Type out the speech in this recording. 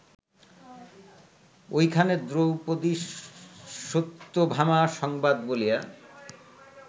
ঐখানে দ্রৌপদীসত্যভামা সংবাদ বলিয়া